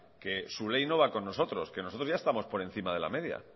que su ley no va con nosotros que nosotros ya estamos por encima de la media